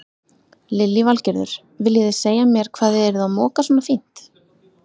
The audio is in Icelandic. Lillý Valgerður: Viljið þið segja mér hvað þið eruð að moka svona fínt?